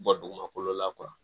Bɔ dugumakolo la